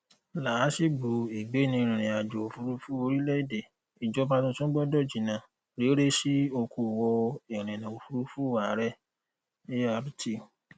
laasigbo igbeniririnajo ofurufu orilẹede ijọba tuntun gbọdọ jinna rere si okoowo irinna ofurufu aarẹ art